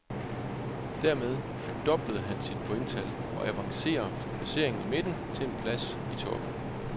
Dermed fordoblede han sit pointtal, og avancerer fra placeringen i midten til en pladsi toppen.